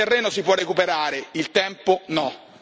Il terreno si può recuperare il tempo no.